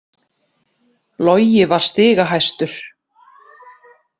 Logi var stigahæstur